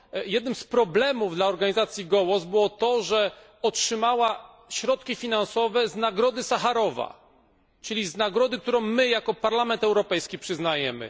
Jednym z problemów dla organizacji Gołos było to, że otrzymała środki finansowe z Nagrody Sacharowa, czyli z nagrody, którą my jako Parlament Europejski przyznajemy.